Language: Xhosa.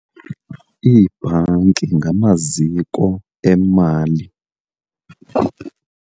Iibhanki ngamaziko emali.